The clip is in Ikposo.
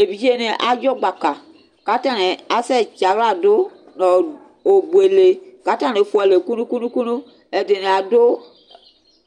evidze ni adzɔ gbaka k'atani asɛ tsi ala dò n'obuele kò atani fua alɛ kunukunu ɛdini ado